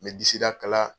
N bɛ disida kala